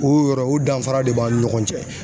O y'o yɔrɔ ye o danfara de b'an ni ɲɔgɔn cɛ.